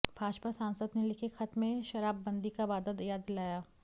भाजपा सांसद ने लिखे खत में शराबबंदी का वादा याद दिलाया